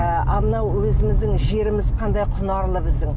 ы ал мынау өзіміздің жеріміз қандай құнарлы біздің